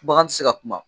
Bagan ti se ka kuma